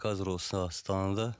қазір осы астанада